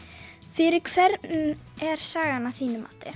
fyrir hvern er sagan að þínu mati